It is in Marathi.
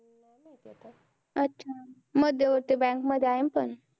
अच्छा! मध्यवर्ती बँकमध्ये आहे ना पण.